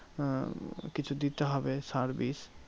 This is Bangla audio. আহ কিছু দিতে হবে সার বিষ।